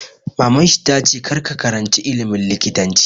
Maman shi ta 'Kar ka karanci ilimin likitanci'!